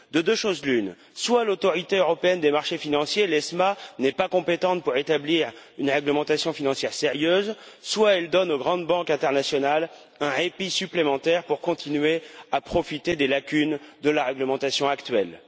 De deux choses l'une soit l'Autorité européenne des marchés financiers, l'AEMF, n'est pas compétente pour établir une réglementation financière sérieuse, soit elle donne aux grandes banques internationales un répit supplémentaire pour continuer à profiter des lacunes de la réglementation actuelle.